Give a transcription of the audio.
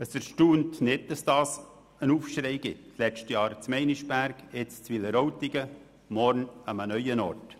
Es erstaunt nicht, dass es zu einem Aufschrei kommt – im letzten Jahr in Meinisberg, jetzt in Wileroltigen, morgen an einem neuen Ort.